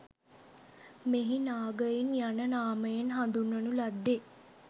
මෙහි නාගයින් යන නාමයෙන් හඳුන්වනු ලද්දේ